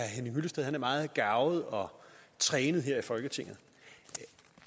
henning hyllested er meget garvet og trænet her i folketinget